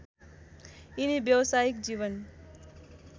यिनी व्यवसायिक जीवन